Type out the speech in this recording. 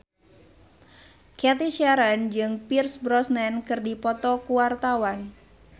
Cathy Sharon jeung Pierce Brosnan keur dipoto ku wartawan